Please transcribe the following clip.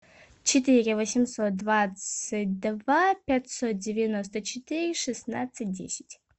четыре восемьсот двадцать два пятьсот девяносто четыре шестнадцать десять